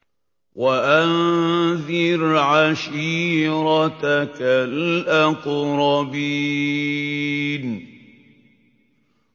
وَأَنذِرْ عَشِيرَتَكَ الْأَقْرَبِينَ